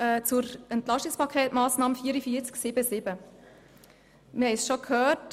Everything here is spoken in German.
Zur EP-Massnahme 44.7.7: Wir haben es bereits gehört.